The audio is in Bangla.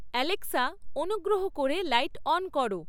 অ্যালেক্সা অনুগ্রহ করে লাইট অন করো